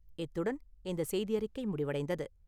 இத்துடன் இந்தச் செய்தியறிக்கை முடிவடைந்தது.